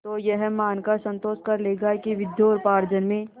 तो यह मानकर संतोष कर लेगा कि विद्योपार्जन में